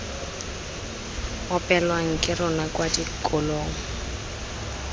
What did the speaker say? opelwang ke rona kwa dikolong